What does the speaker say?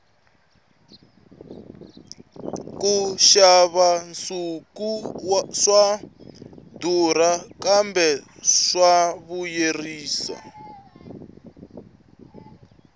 ku xava nsuku swa durha kambe swa vuyerisa